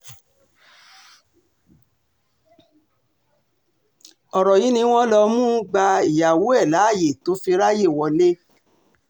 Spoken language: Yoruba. ọ̀rọ̀ yìí ni wọ́n lọ mú un gba ìyàwó ẹ̀ láàyè tó fi ráàyè wọlé